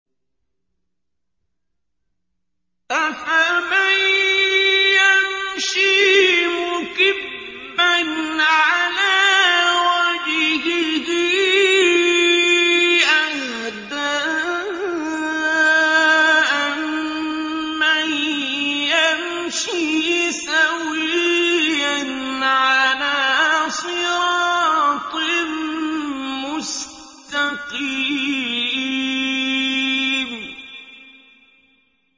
أَفَمَن يَمْشِي مُكِبًّا عَلَىٰ وَجْهِهِ أَهْدَىٰ أَمَّن يَمْشِي سَوِيًّا عَلَىٰ صِرَاطٍ مُّسْتَقِيمٍ